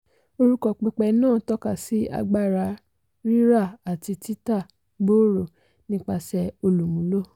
orúkọ pẹpẹ náà tọ́ka sí agbára rírà àti títà gbòòrò nípasẹ̀ olúmúló.